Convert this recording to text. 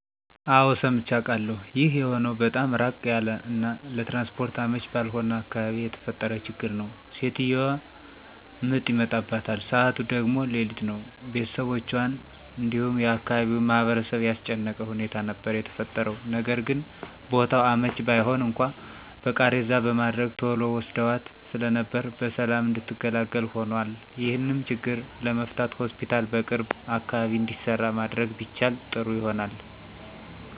አወ ሰምቼ አቃለሁ። ይህ የሆነው በጣም ራቅ ያለ እና ለትራንስፖርት አመቺ ባልሆነ አካባቢ የተፈጠረ ችግር ነው። ሴትዮዋ ምጥ ይመጣባታል ሰዓቱ ደግሞ ሌሊት ነው፤ ቤተሰቦቹአን እንዲሁም የአካባቢውን ማህበረሰብ ያስጨነቀ ሁኔታ ነበር የተፈጠረው። ነገርግን ቦታው አመቺ ባይሆን እንኳን በቃሬዛ በማድረግ ቶሎ ወስደዋት ስለነበር በሰላም እንድትገላገል ሆኖአል። ይሄንም ችግር ለመፍታት ሆስፒታል በቅርብ አካባቢ እንዲሰራ ማድረግ ቢቻል ጥሩ ይሆናል።